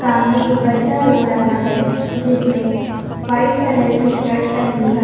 सामने एक बच्चा रो रहा है जिसने वाइट कलर की शर्ट पहनी है।